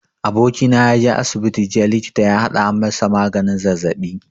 Abokina ya je asibiti jiya likita ya haɗa masa maganin zazzaɓi.